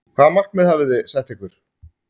Hvaða markmið hafi þið sett ykkur?